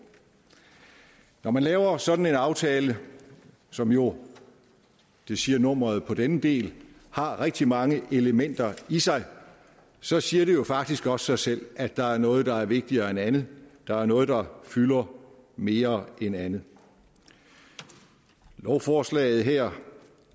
når man laver en sådan aftale som jo det siger nummeret på denne del har rigtig mange elementer i sig så siger det jo faktisk også sig selv at der er noget der er vigtigere end andet at der er noget der fylder mere end andet lovforslaget her